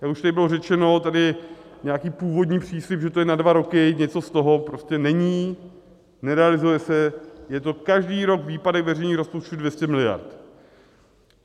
Jak už tady bylo řečeno, tady nějaký původní příslib, že to je na dva roky, něco z toho prostě není, nerealizuje se, je to každý rok výpadek veřejných rozpočtů 200 miliard.